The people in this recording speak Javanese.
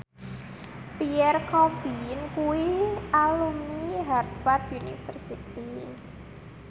Pierre Coffin kuwi alumni Harvard university